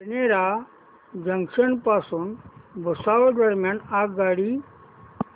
Badnera junction पासून भुसावळ दरम्यान आगगाडी